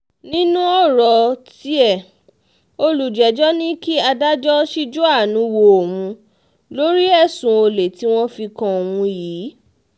nínú ọ̀rọ̀ tiẹ̀ olùjẹ́jọ́ ní kí adájọ́ ṣíjú àánú wo òun lórí ẹ̀sùn olè tí wọ́n fi kan òun yìí